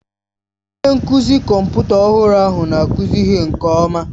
Onye nkụzi kọmputa ọhụrụ ahụ na-akụzi ihe nke ọma.